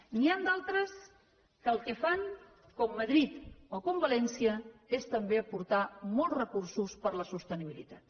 n’hi han d’altres que el que fan com madrid o com valència és també aportar molts recursos per a la sostenibilitat